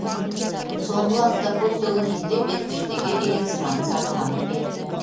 соңғы уақытта көптеген елде бетпердеге деген сұраныс артқаны белгілі